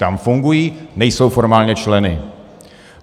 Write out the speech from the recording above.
Tam fungují, nejsou formálně členy.